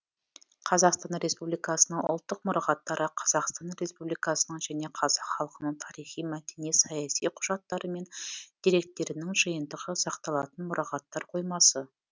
қазақстан республикасының ұлттық мұрағаттары қазақстан республикасының және қазақ халқының тарихи мәдени саяси құжаттары мен деректерінің жиынтығы сақталатын мұрағаттар қоймасы